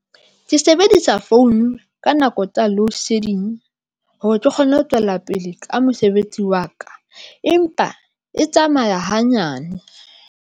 Ke sebedisa founu ka nako tsa loadshedding hore ke kgone ho tswela pele ka mosebetsi wa ka empa e tsamaya hanyane.